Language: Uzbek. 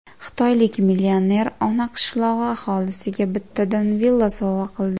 Xitoylik millioner ona qishlog‘i aholisiga bittadan villa sovg‘a qildi.